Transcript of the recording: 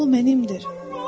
O mənimdir.